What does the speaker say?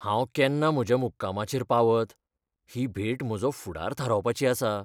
हांव केन्ना म्हज्या मुक्कामाचेर पावत? ही भेट म्हजो फुडार थारावपाची आसा .